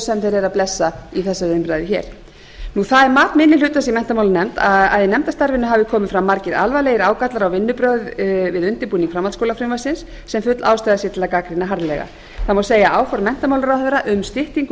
eru að blessa í þessari umræðu hér það er mat minni hlutans í menntamálanefnd að í nefndarstarfinu hafi komið fram margir alvarlegir ágallar á vinnubrögð við undirbúning framhaldsskólafrumvarpsins sem full ástæða sé til að gagnrýna harðlega það má segja að áform menntamálaráðherra um styttingu